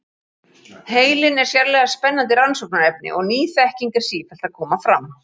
heilinn er sérlega spennandi rannsóknarefni og ný þekking er sífellt að koma fram